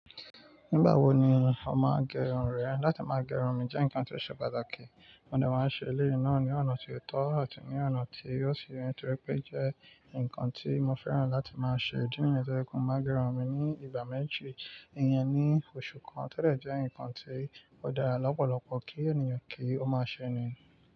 Nígbà wo ni o máa gẹrun rẹ? Látí máa gẹrun mi jẹ́ ǹkan tó ṣe pàtàkì, mo ní mo máa ṣe eléyìí náà ní ọ̀nà tí ó tọ́ àti ní ọ̀nà tí ó ṣì yẹtorí pé jẹ́ ǹkan tí mo fẹ́ràn láti máa ṣe. Ìdí nìyẹn tó jẹ́ pé, máa gẹrun mi ní ìgbà mẹ́jì, ìyẹn ni oṣù kan tẹ́lẹ̀ jẹ́ ǹkan tí ó dára lọ́pọ̀lọ́pọ̀ kí ènìyàn kí ó máa ṣe ni.